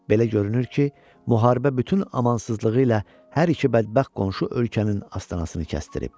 Belə görünür ki, müharibə bütün amansızlığı ilə hər iki bədbəxt qonşu ölkənin astanasını kəstrib.